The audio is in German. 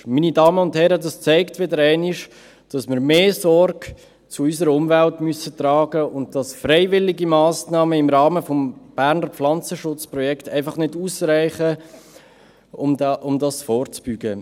Meine Damen und Herren, das zeigt wieder einmal, dass wir mehr Sorge zu unserer Umwelt tragen müssen und dass freiwillige Massnahmen im Rahmen des Berner Pflanzenschutzprojekts (BPP) einfach nicht ausreichen, um vorzubeugen.